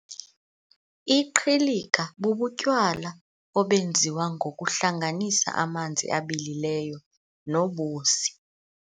Iqhilika bubutywala obenziwa ngokuhlanganisa amanzi abilileyo nobusi.